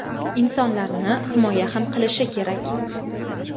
insonlarni himoya ham qilishi kerak!.